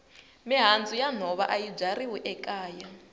mihandzu ya nhova ayi byariwi makaya